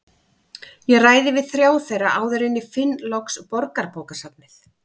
Ég ræði við þrjá þeirra áður en ég finn loks Borgarbókasafnið.